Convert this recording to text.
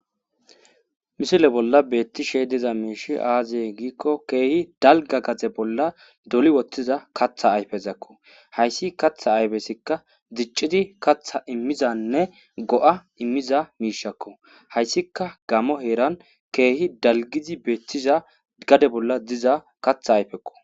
Misile bolla beetti she diza miishi aaziye giikko keehi dalga gaze bolla doli wottiza katha ayfezakko hayssi katha aybesikka dicciti katha immizanne go'a immiza miishakko hayssika gamo eeran keehi dalgizi beettiza gade bolla diza katha ayfekko.